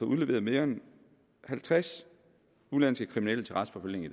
udleveret mere end halvtreds udenlandske kriminelle til retsforfølgning i